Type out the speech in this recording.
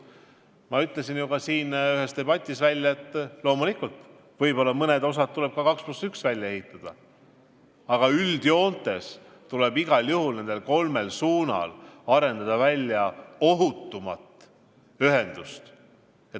Ma ütlesin ju ka siin ühes debatis välja, et loomulikult, võib-olla mõned teeosad tuleb 2 + 1 skeemi järgides välja ehitada, aga üldjoontes tuleb igal juhul kolmel põhisuunal arendada välja ohutum ühendus.